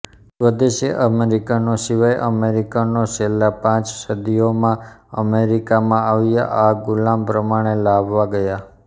સ્વદેશી અમેરિકનો સિવાય અમેરિકનો છેલ્લા પાંચ સદીયોમાં અમરેકિમાં આવ્યા યા ગુલામ પ્રમાણે લાવવા ગયા